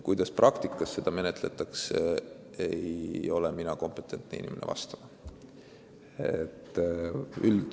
Kuidas praktikas neid asju lahendatakse, ei ole mina kompetentne inimene vastama.